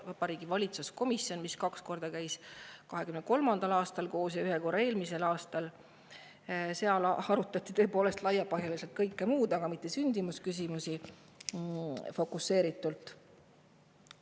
Selles valitsuskomisjonis, mis käis 2023. aastal koos kaks korda ja eelmisel aastal ühe korra, on tõepoolest laiapõhjaliselt arutatud kõike muud, aga mitte sündimusküsimusi fokuseeritult.